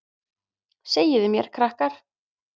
Segiði mér krakkar.